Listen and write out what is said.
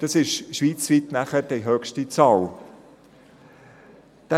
Dies wird schweizweit die höchste Zahl sein.